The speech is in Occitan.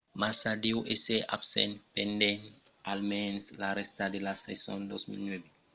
massa deu èsser absent pendent almens la rèsta de la sason 2009